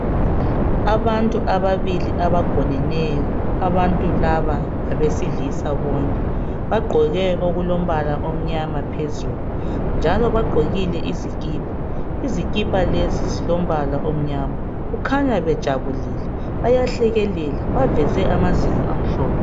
Abantu ababili abagoneneyo, abantu laba ngabesilisa bonke. Bagqoke okulombala omnyama phezulu. Njalo bagqokile izikipa. Izikipa lezi zilo mbala omnyama. Kukhanya bejabulile. Bayahlekelela baveze amazinyo amhlophe.